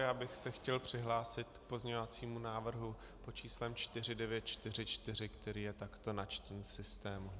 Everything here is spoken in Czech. Já bych se chtěl přihlásit k pozměňovacímu návrhu pod číslem 4944, který je takto načtený v systému.